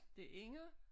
Det Inger